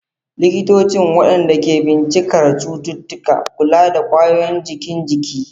Likitocin, waɗanda ke bincikar cututtuka, kula da wayoyin jikin jiki.